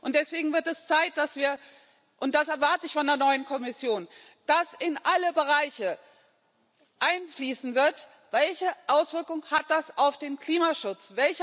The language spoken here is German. Deswegen wird es Zeit und das erwarte ich von der neuen Kommission dass in alle Bereiche einfließen wird Welche Auswirkung hat das auf den Klimaschutz?